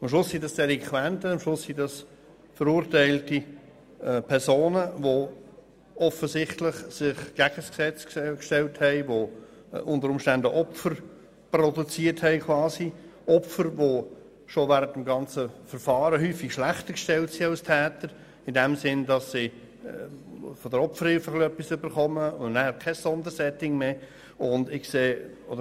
Schlussendlich handelt es sich um Delinquenten, um verurteilte Personen, die sich offensichtlich gegen das Gesetz gestellt haben, die Opfer hervorgerufen haben, Opfer, die oft bereits während des ganzen Verfahrens schlechter gestellt sind als die Täter, indem sie nur etwas von der Opferhilfe bekommen und dann kein weiteres Sondersetting für sie vorgesehen ist.